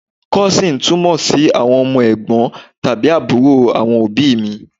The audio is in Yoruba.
Cousin túmọ̀ sí àwọn ọmọ Ẹ̀gbọ́n tàbí àbúrò àwọn òbíì mi.